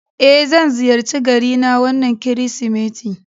Eh, zan ziyarci garina wannan Kirsimeti